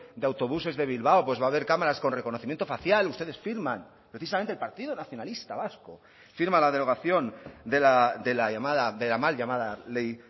de autobuses de bilbao pues va a haber cámaras con reconocimiento facial ustedes firman precisamente el partido nacionalista vasco firma la derogación de la llamada de la mal llamada ley